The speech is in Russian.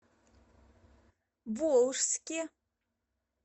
волжске